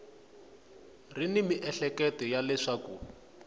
ri ni miehleketo ya leswaku